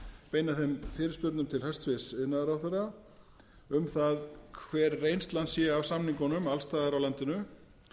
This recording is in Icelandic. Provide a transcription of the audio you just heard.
beina þeim fyrirspurnum til hæstvirts iðnaðarráðherra um það hver reynslan sé af samningunum alls staðar af landinu